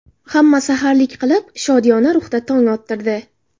Hamma saharlik qilib, shodiyona ruhda tong ottirdi.